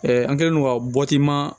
an kɛlen don ka